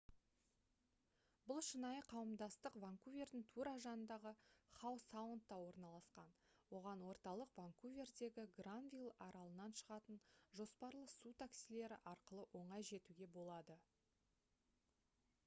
бұл шынайы қауымдастық ванкувердің тура жанындағы хау саундта орналасқан оған орталық ванкувердегі гранвилл аралынан шығатын жоспарлы су таксилері арқылы оңай жетуге болады